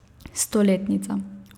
Stoletnica.